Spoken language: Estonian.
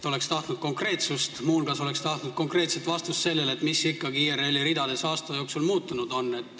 Oleks tahtnud konkreetsust, muu hulgas oleks tahtnud konkreetset vastust sellele, mis ikkagi IRL-is aasta jooksul muutunud on.